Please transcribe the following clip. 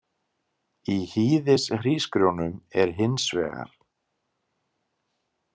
Í hýðishrísgrjónum er hins vegar.